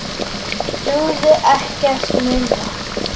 Dugði ekkert minna.